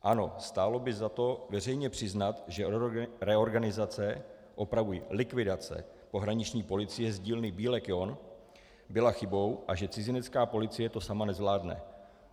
Ano, stálo by za to veřejně přiznat, že reorganizace - opravuji, likvidace pohraniční policie z dílny Bílek-John byla chybou a že cizinecká policie to sama nezvládne.